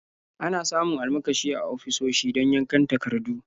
Ana samun almakashi a ofisoshi don yankan takardu.